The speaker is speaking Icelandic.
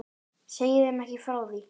Segi þeim ekki frá því.